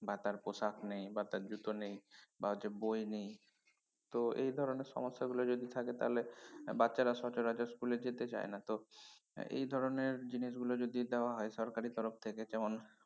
বা তার পোশাক নেই বা জুতো নেই বা হচ্ছে বই নেই তো এ ধরনের সমস্যাগুলো যদি থাকে তাহলে বাচ্চারা সচরাচর school এ যেতে চায় না তো এর এই ধরনের জিনিসগুলো যদি দেওয়া হয় সরকারের তরফ থেকে যেমন